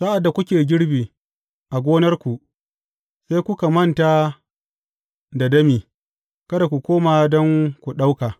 Sa’ad da kuke girbi a gonarku, sai kuka manta da dami, kada ku koma don ku ɗauka.